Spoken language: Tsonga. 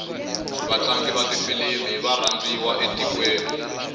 vatlangu vatifilimu varandziwa etikweni